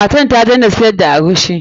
Matar ta daina sigar da eguisi.